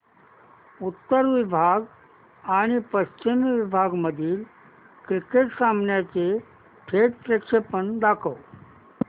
उत्तर विभाग आणि पश्चिम विभाग मधील क्रिकेट सामन्याचे थेट प्रक्षेपण दाखवा